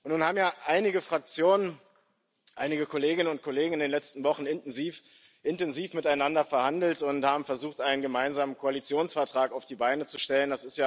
Nun haben ja einige Fraktionen, einige Kolleginnen und Kollegen in den letzten Wochen intensiv miteinander verhandelt und haben versucht, einen gemeinsamen Koalitionsvertrag auf die Beine zu stellen.